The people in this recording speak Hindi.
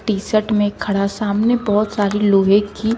टी शर्ट में खड़ा सामने बहुत सारी लोहे की--